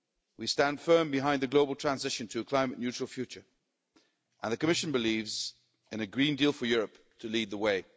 We stand firm behind the global transition to a climate neutral future and the Commission believes in a Green Deal for Europe to lead the way.